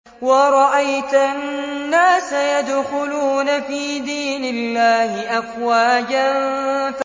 وَرَأَيْتَ النَّاسَ يَدْخُلُونَ فِي دِينِ اللَّهِ أَفْوَاجًا